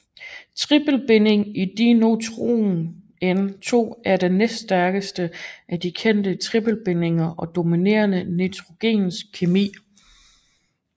Tripelbindingen i dinitrogen N2 er den næststærkeste af de kendte tripelbindinger og dominerer nitrogens kemi